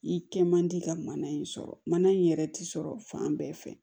I kɛ man di ka mana in sɔrɔ mana in yɛrɛ tɛ sɔrɔ fan bɛɛ fɛ